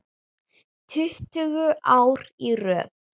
Tuttugu ár í röð.